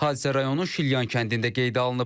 Hadisə rayonun Şilyan kəndində qeydə alınıb.